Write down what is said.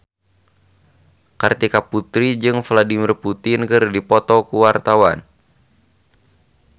Kartika Putri jeung Vladimir Putin keur dipoto ku wartawan